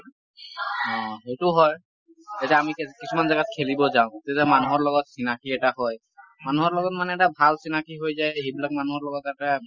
উম সেইটো হয়। কিছুমান জাগাত খেলিব যাওঁ তেতিয়া মানুহৰ লগত চিনাকী এটা হয়। মানুহৰ লগত মানে এটা ভাল চিনাকী হৈ যায় সেইবিলাক মানুহৰ লগত এটা